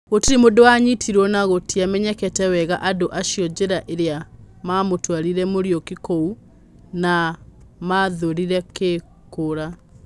Gũtirĩ mũndũ wa nyitĩrwo, na gũtiamenyekete wega andu acio njĩra ĩrĩa mamutwarire Muriuki kũu ma mavũthĩrire kĩĩ kũũra